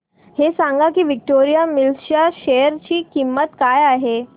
हे सांगा की विक्टोरिया मिल्स च्या शेअर ची किंमत काय आहे